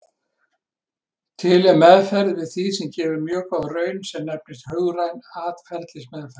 Til er meðferð við því sem gefur mjög góða raun sem nefnist hugræn atferlismeðferð.